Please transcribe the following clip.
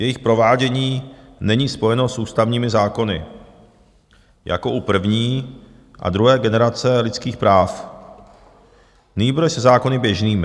Jejich provádění není spojeno s ústavními zákony jako u první a druhé generace lidských práv, nýbrž se zákony běžnými.